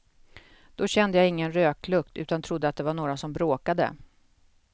Då kände jag ingen röklukt utan trodde att det var några som bråkade.